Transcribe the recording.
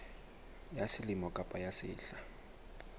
ya selemo kapa ya sehla